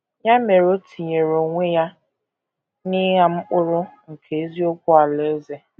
Ya mere o tinyere onwe ya n’ịgha mkpụrụ nke eziokwu Alaeze.